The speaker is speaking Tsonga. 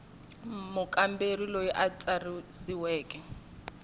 mukamberi loyi a tsarisiweke a